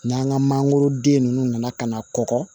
N'an ka mangoroden ninnu nana ka na kɔgɔ